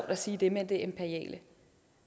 at sige det med det imperiale